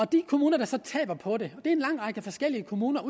de kommuner der så taber på det er en lang række forskellige kommuner og